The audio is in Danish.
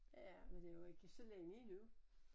Ja men det jo ikke så længe endnu